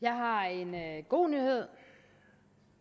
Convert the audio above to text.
jeg har en god nyhed